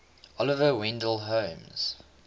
oliver wendell holmes